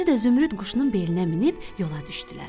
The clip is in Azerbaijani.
Özü də Zümrüd quşunun belinə minib yola düşdülər.